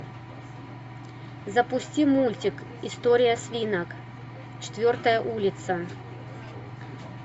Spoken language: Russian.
запусти мультик история свинок четвертая улица